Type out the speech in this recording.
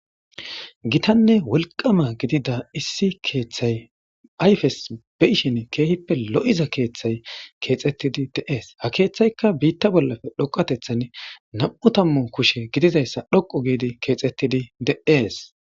Gitanne wolqama gidida issi keeththay ayfes be'ishin keehippe lo'iza keeththay keexetidi de'es; ha keeththyka biita bollappe dhoqqatethani nam'u tammu kushe gidizayssa dhoqqu giidi keexetidi de'es.